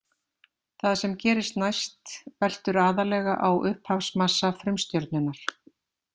Það sem gerist næst veltur aðallega á upphafsmassa frumstjörnunnar.